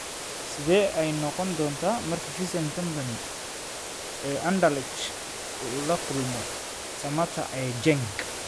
Sidee ayey noqon doontaa markii Vincent Kompany ee Anderlecht uu la kulmo Mbwana Samatta ee Genk?